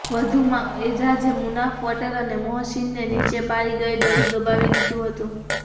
વધુમાં એજાજે મુનાફ પટેલ અને મોહસીનને નીચે પાડી દઇ ગળું દબાવી દીધું હતું